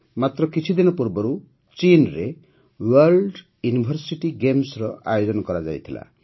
ମାତ୍ର କିଛିଦିନ ପୂର୍ବରୁ ଚୀନ୍ରେ ୱାର୍ଲ୍ଡ ୟୁନିଭର୍ସିଟି ଗେମ୍ସର ଆୟୋଜନ ହୋଇଥିଲା